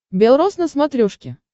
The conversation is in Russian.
бел рос на смотрешке